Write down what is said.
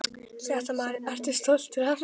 Fréttamaður: Ertu stoltur af þessu?